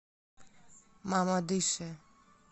мамадыше